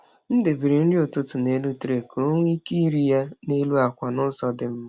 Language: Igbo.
M debere nri ụtụtụ n’elu tray ka ọ nwee ike iri ya n’elu akwa n’ụzọ dị mma.